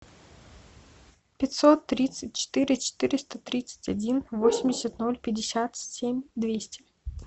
пятьсот тридцать четыре четыреста тридцать один восемьдесят ноль пятьдесят семь двести